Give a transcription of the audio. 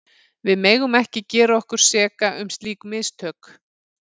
Við megum ekki gera okkur seka um slík mistök.